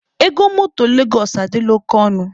Ego motor Legos adịla oke ọnụ.